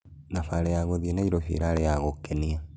Thabarĩ ya gũthiĩ Nairobĩ ĩrarĩ ya gũkenĩa